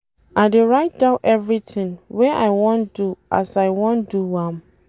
I dey write down everytin wey I wan do as I wan do am.